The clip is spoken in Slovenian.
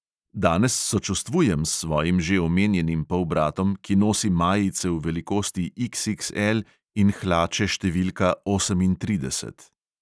Danes sočustvujem s svojim že omenjenim polbratom, ki nosi majice v velikosti XXL in hlače številka osemintrideset.